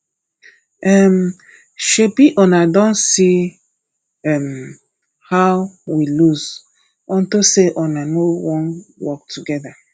um shebi una don see um how we lose unto say una no wan work together